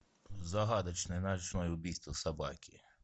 загадочное ночное убийство собаки